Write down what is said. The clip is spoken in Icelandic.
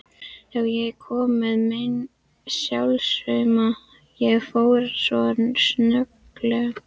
Já, ég kom með mín hálfsaumuð, ég fór svo snögglega.